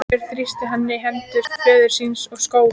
Björn þrýsti enn hendur föður síns og skók þær.